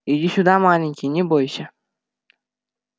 иди сюда маленький не бойся